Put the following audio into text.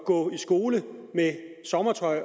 gå ind